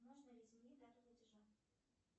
можно ли изменить дату платежа